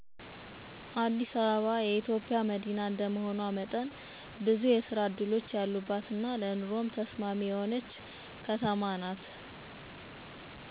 አዲስ አበባ ለስራ ለኑሮ ተስማሚ ነው